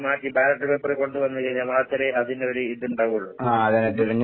മാറ്റി ballot paper കൊണ്ട് വന്ന് കഴിഞ്ഞാ മാത്രേ അതിനൊരു ഇത്ണ്ടാവുള്ളു. ഇത്